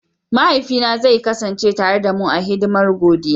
Mahaifina zai kasance tare da mu a hidimar godiya.